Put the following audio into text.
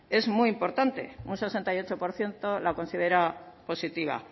es muy importante un sesenta y ocho por ciento la considera positiva